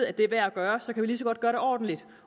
at det er værd at gøre så kan vi lige så godt gøre det ordentligt